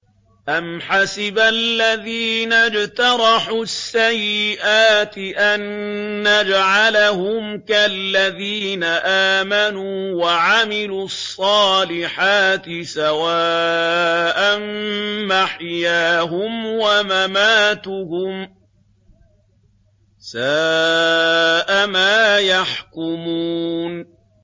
أَمْ حَسِبَ الَّذِينَ اجْتَرَحُوا السَّيِّئَاتِ أَن نَّجْعَلَهُمْ كَالَّذِينَ آمَنُوا وَعَمِلُوا الصَّالِحَاتِ سَوَاءً مَّحْيَاهُمْ وَمَمَاتُهُمْ ۚ سَاءَ مَا يَحْكُمُونَ